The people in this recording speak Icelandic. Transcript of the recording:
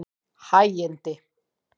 Hægindi